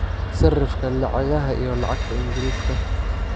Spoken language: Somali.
sarrifka lacagaha iyo lacagta Ingiriiska